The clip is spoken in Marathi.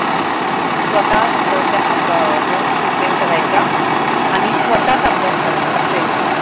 स्वतःच अह नोट्स प्रिपेरे करायचे आणि स्वतःच अभ्यास करायचे असेच म्हणजे.